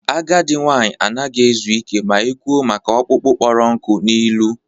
Agadi nwanyị anaghị ezu ike ma e kwụọ maka ọkpụkpụ kpọrọ nkụ n'ilu